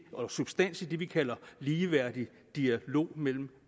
og substans i det vi kalder ligeværdig dialog mellem